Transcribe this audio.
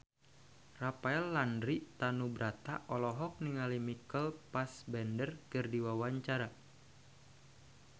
Rafael Landry Tanubrata olohok ningali Michael Fassbender keur diwawancara